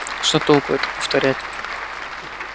что толку это повторять